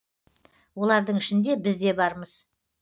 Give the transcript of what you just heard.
олардың ішінде біз де бармыз